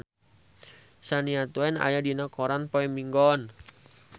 Shania Twain aya dina koran poe Minggon